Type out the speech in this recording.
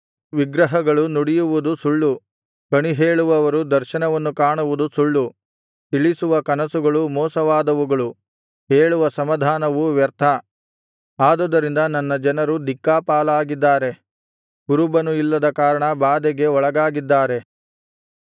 ವಿಗ್ರಹಗಳು ನುಡಿಯುವುದು ಸುಳ್ಳು ಕಣಿಹೇಳುವವರು ದರ್ಶನವನ್ನು ಕಾಣುವುದು ಸುಳ್ಳು ತಿಳಿಸುವ ಕನಸುಗಳು ಮೋಸವಾದವುಗಳು ಹೇಳುವ ಸಮಾಧಾನವು ವ್ಯರ್ಥ ಆದುದರಿಂದ ನನ್ನ ಜನರು ದಿಕ್ಕಾಪಾಲಾಗಿದ್ದಾರೆ ಕುರುಬನು ಇಲ್ಲದ ಕಾರಣ ಬಾಧೆಗೆ ಒಳಗಾಗಿದ್ದಾರೆ